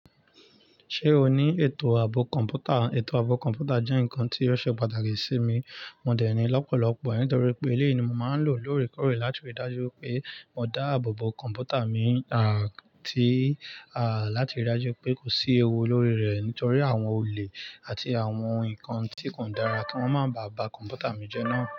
Ṣé o ní ètò ààbò kọ̀ǹpútà? Ètò ààbò kọ̀ǹpútà jẹ́ nǹkan tí ó ṣe pàtàkì sí mi. Mo dẹ̀ ní lọ́pọ̀lọ́pọ̀, nítorí pé eléyìí ni mo máa ń lò lóòrèkóòrè láti rí i dájú pé mo dá ààbòbò kọ̀ǹpútà mi, láti rí i dájú pé kò sí ewu lórí rẹ̀ nítorí àwọn olè àti àwọn ǹkan tí kò dára kí wọ́n máa ba kọ̀ǹpútà mi jẹ́ náà.